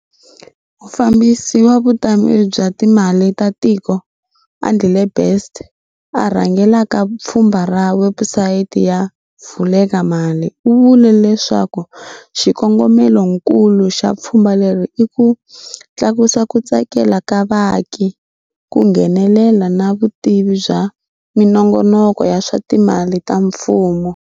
Mufambisi wa Vutameri bya Timali ta Tiko, Andile Best a rhangelaka pfhumba ra webusayiti ya Vulekamali u vule leswaku xikongomelonkulu xa pfhumba leri i ku tlakusa ku tsakela ka vaaki, ku nghenelela na vutivi bya minongonoko ya swa timali ya mfumo.